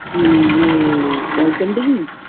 কি ইয়ে Call center -এর